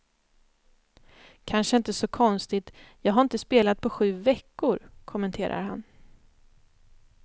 Kanske inte så konstigt, jag har inte spelat på sju veckor, kommenterar han.